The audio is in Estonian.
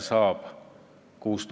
Keskpärane küsimus!